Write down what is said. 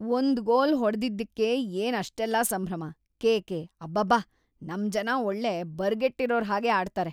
ಒಂದ್ ಗೋಲ್ ಹೊಡ್ದಿದ್ದಿಕ್ಕೇ ಏನ್‌ ಅಷ್ಟೆಲ್ಲ ಸಂಭ್ರಮ, ಕೇಕೆ, ಅಬ್ಬಬ್ಬಾ ನಮ್‌ ಜನ ಒಳ್ಳೆ ಬರ್ಗೆಟ್ಟಿರೋರ್‌ ಹಾಗೆ ಆಡ್ತಾರೆ.